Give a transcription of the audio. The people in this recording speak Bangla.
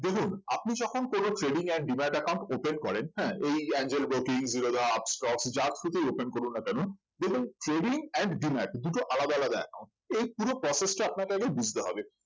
দেখুন আপনি যখন কোন trading and demat account open করেন হ্যাঁ এই এঞ্জেল ব্রোকিং জিরোধা আপস্টক্স যার through তেই open করুন না কেন দেখবেন trading and demat দুটো আলাদা আলাদা account এই পুরো process টা আপনাকে আগে বুঝতে হবে